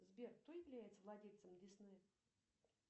сбер кто является владельцем диснея